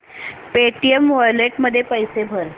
Paytm wallet मध्ये पैसे भर